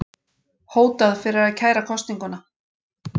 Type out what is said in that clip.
Hótað fyrir að kæra kosninguna